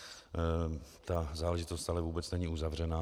Ta záležitost ale vůbec není uzavřená.